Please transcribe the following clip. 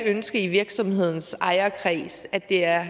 ønske i virksomhedens ejerkreds at det er